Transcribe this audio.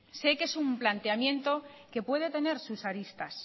sé que es un planteamiento que puede tener sus aristas